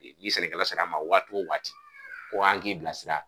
I i sɛnɛkɛla sar'an ma waati o waati ko an k'i bilasira